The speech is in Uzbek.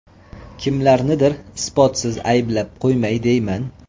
Kimlarnidir isbotsiz ayblab qo‘ymay deyman.